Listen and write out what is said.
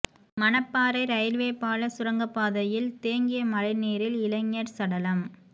Manapparai railway பால சுரங்கப்பாதையில் தேங்கிய மழை நீரில் இளைஞர் சடலம்